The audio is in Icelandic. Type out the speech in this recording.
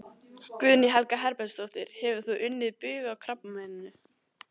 Guðný Helga Herbertsdóttir: Hefur þú unnið bug á krabbameininu?